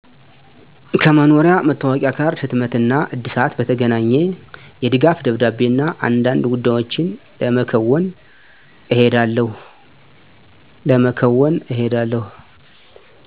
ከመኖሪያ መታወቂያ ካርድ ህትመት እና እድሳት በተገናኘ፣ የድጋፍ ደብዳቤ እና አንዳንድ ጉዳዮችን ለመከዎን እሄዳለሁ።